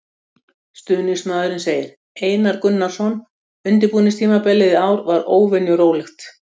Stuðningsmaðurinn segir- Einar Gunnarsson Undirbúningstímabilið í ár var óvenju rólegt.